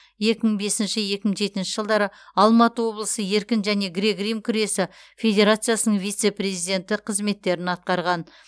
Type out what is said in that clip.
екі мың бесінші екі мың жетінші жылдары алматы облысы еркін және грек рим күресі федерациясының вице президенті қызметтерін атқарған